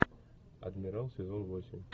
адмирал сезон восемь